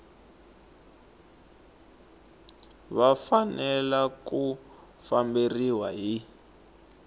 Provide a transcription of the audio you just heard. va fanelanga ku famberiwa hi